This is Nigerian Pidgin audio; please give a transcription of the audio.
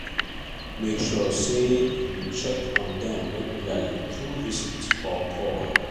make sure say you check on them regularly through visit or call